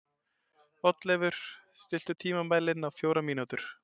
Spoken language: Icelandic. Oddleifur, stilltu tímamælinn á fjórar mínútur.